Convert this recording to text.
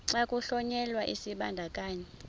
xa kuhlonyelwa isibandakanyi